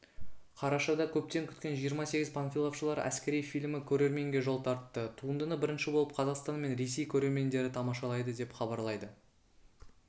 қарашада көптен күткен жиырма сегіз панфиловшылар әскери фильмі көрерменге жол тартты туындыны бірінші болып қазақстан мен ресей көрермендері тамашалайды деп хабарлайды